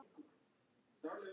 Það tekst betur.